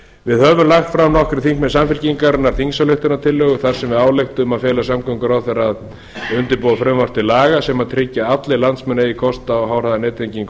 við höfum lagt fram nokkrir þingmenn samfylkingarinnar þingsályktunartillögu þar sem við ályktum að fela samgönguráðherra að undirbúa frumvarp til laga sem tryggir að allir landsmenn eigi kost á háhraðanettengingu